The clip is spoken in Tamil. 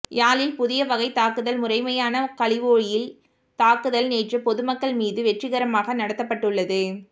யாழில் புதிய வகை தாக்குதல் முறைமையான கழிவோயில் தாக்குதல் நேற்று பொது மக்கள் மீதும் வெற்றிகரமாக நடாத்தப்பட்டுள்ளது